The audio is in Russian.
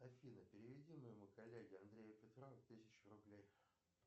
афина переведи моему коллеге андрею петрову тысячу рублей